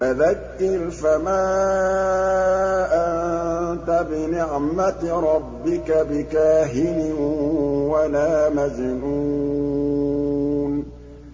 فَذَكِّرْ فَمَا أَنتَ بِنِعْمَتِ رَبِّكَ بِكَاهِنٍ وَلَا مَجْنُونٍ